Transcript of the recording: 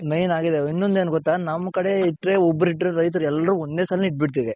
main ಆಗಿದ್ ಇನೊಂದ್ ಎನ್ ಗೊತ್ತಾ ಅದೆ ನಮ್ ಕಡೆ ಇಟ್ರೆ ಒಬ್ರಿಟ್ರೇ ರೈತರು ಎಲ್ರು ಒಂದೇ ಸಲನೆ ಇಟ್ ಬಿಡ್ತಿವಿ.